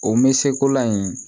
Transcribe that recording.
O me se ko la in